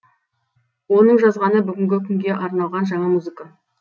оның жазғаны бүгінгі күнге арналған жаңа музыка